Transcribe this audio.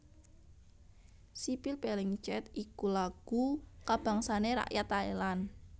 Sipil Phleng Chat iku lagu kabangsané rakyat Thailand